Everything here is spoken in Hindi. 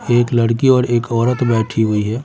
एक लड़की और एक औरत बैठी हुई है।